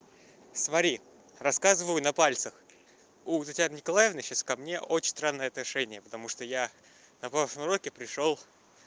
свари рассказываю на пальцах у татьяны николаевна сейчас ко мне очень странные отношения потому что я на прошлом уроки пришёл